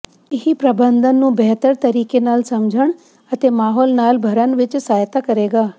ਇਹ ਪ੍ਰਬੰਧਨ ਨੂੰ ਬਿਹਤਰ ਤਰੀਕੇ ਨਾਲ ਸਮਝਣ ਅਤੇ ਮਾਹੌਲ ਨਾਲ ਭਰਨ ਵਿੱਚ ਸਹਾਇਤਾ ਕਰੇਗਾ